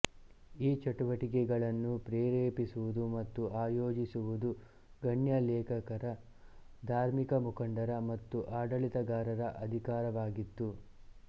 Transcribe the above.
ಈ ಚಟುವಟಿಕೆಗಳನ್ನು ಪ್ರೇರೇಪಿಸುವುದು ಮತ್ತು ಆಯೋಜಿಸುವುದು ಗಣ್ಯ ಲೇಖಕರ ಧಾರ್ಮಿಕ ಮುಖಂಡರ ಮತ್ತು ಆಡಳಿತಗಾರರ ಅಧಿಕಾರವಾಗಿತ್ತು